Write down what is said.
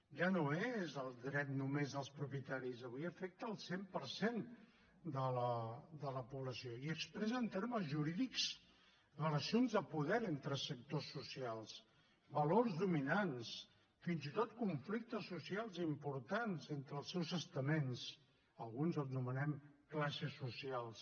ja no és el dret només dels propietaris avui afecta el cent per cent de la població i expressa en termes jurídics relacions de poder entre sectors socials valors dominants fins i tot conflictes socials importants entre els seus estaments alguns els anomenem classes socials